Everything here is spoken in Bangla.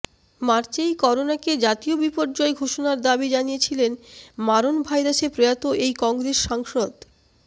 মার্চেই করোনাকে জাতীয় বিপর্যয় ঘোষণার দাবি জানিয়েছিলেন মারণ ভাইরাসে প্রয়াত এই কংগ্রেস সাংসদ